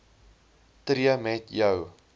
tree met jou